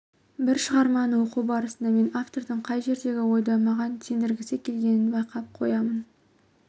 бір шығарманы оқу барысында мен автордың қай жердегі ойды маған сендіргісі келгенін байқап қоямын